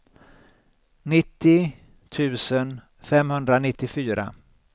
nittio tusen femhundranittiofyra